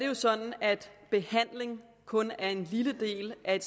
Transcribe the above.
jo sådan at behandling kun er en lille del af